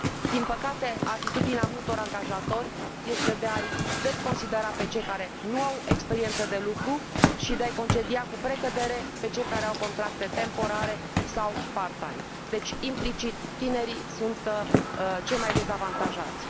Din păcate, atitudinea multor angajatori este de a i desconsidera pe cei care nu au experiență de lucru și de a i concedia, cu precădere, pe cei care au contracte temporare sau part time, deci, implicit, tinerii sunt cei mai dezavantajați.